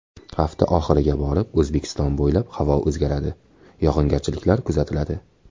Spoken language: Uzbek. Hafta oxiriga borib O‘zbekiston bo‘ylab havo o‘zgaradi, yog‘ingarchiliklar kuzatiladi.